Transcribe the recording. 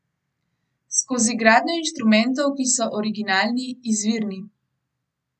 Skozi gradnjo inštrumentov, ki so originalni, izvirni.